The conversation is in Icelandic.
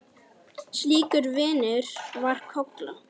Slíkur vinur var Kolla.